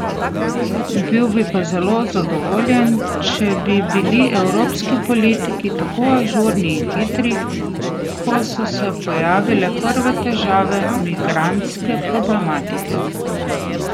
Bi bil pa zelo zadovoljen, če bi bili evropski politiki tako ažurni in hitri, ko so se pojavile prve težave migrantske problematike.